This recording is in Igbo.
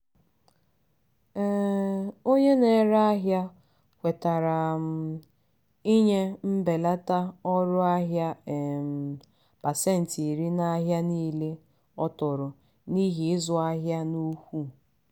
um onye na-ere ahịa kwetara um inye mbelata ọrụ ahịa um pasentị iri n'ahịa niile ọ tụrụ n'ihi izu ahịa n'ukwu.